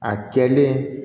A kɛlen